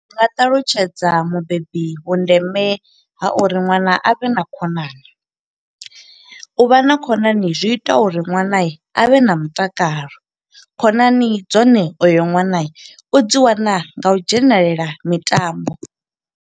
Ndi nga ṱalutshedza mubebi vhundeme ha uri ṅwana a vhe na khonani, u vha na khonani zwi ita uri ṅwana avhe na mutakalo. Khonani dzone uyo ṅwana, u dzi wana nga u dzhenelela mitambo.